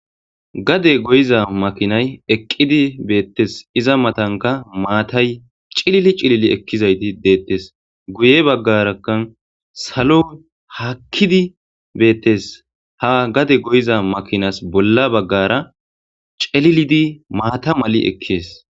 Gade goyiza makinay eqqidi beettes iza matanka maatay cilili cilili ekkizayti deettes guye baggaraka salo haakkidi beettes ha gade goyiza makinas bolla baggara celilidi maata mali ekkees